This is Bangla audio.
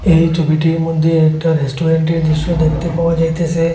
এই ছবিটির মধ্যে একটা রেস্টুরেন্টের দৃশ্য দেখতে পাওয়া যাইতেসে।